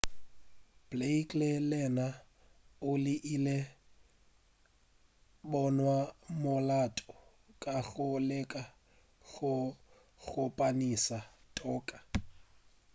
blake le yena o ile a bonwa molato ka go leka go kgopamiša toka